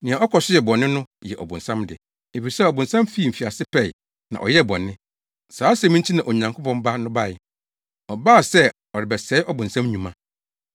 Nea ɔkɔ so yɛ bɔne no yɛ ɔbonsam de, efisɛ ɔbonsam fi mfiase pɛe, na ɔyɛɛ bɔne. Saa asɛm yi nti na Onyankopɔn Ba no bae. Ɔbaa sɛ ɔrebɛsɛe ɔbonsam nnwuma.